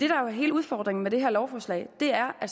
jo er hele udfordringen med det her lovforslag er at